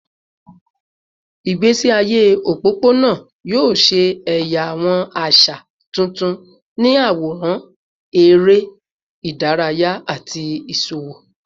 Igbesi aye opopona yoo ṣe ẹya awọn aṣa tuntun ni aworan, ere idaraya, ati iṣowo